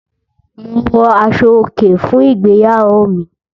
Mo wọ aṣọ-òkè fún ìgbéyàwó mi.